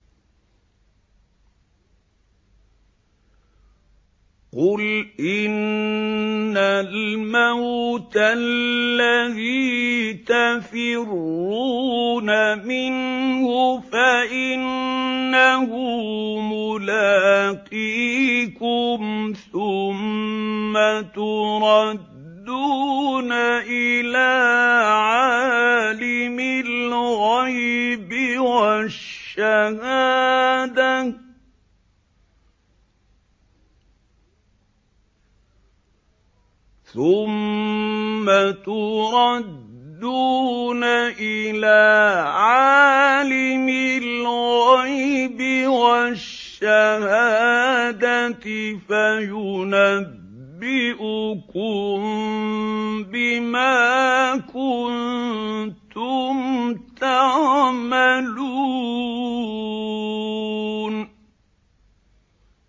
قُلْ إِنَّ الْمَوْتَ الَّذِي تَفِرُّونَ مِنْهُ فَإِنَّهُ مُلَاقِيكُمْ ۖ ثُمَّ تُرَدُّونَ إِلَىٰ عَالِمِ الْغَيْبِ وَالشَّهَادَةِ فَيُنَبِّئُكُم بِمَا كُنتُمْ تَعْمَلُونَ